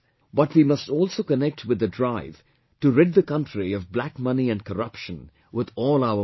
But we must also connect with the drive to rid the country of black money and corruption with all our might